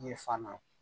Ɲɛ fa na